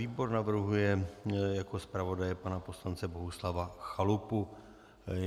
Výbor navrhuje jako zpravodaje pana poslance Bohuslava Chalupu.